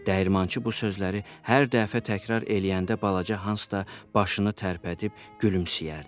Dəyirmançı bu sözləri hər dəfə təkrar eləyəndə balaca Hans da başını tərpədib gülümsəyərdi.